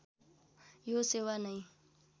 यो सेवा नै